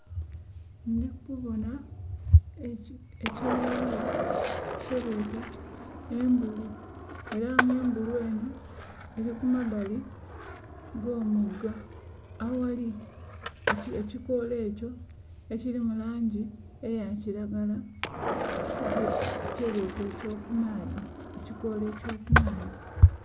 Ndi kubona ekyewalura kyebeeta embulu era nga embulu eno eri ku mabbali g'omwiga aghali ekikoola ekyo ekiri mu langi eya kilagara, kyebeeta eky'okumaadhi...ekikoola eky'okumaadhi